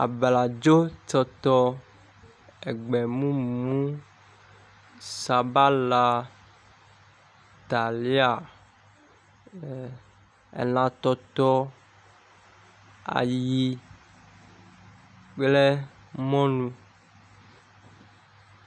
Abladzotɔtɔ, egbemumu, sabala, talia, e elãtɔtɔ, ayiyi kple mɔlu.